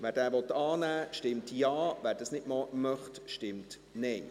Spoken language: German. Wer ihn annehmen will, stimmt Ja, wer das nicht möchte, stimmt Nein.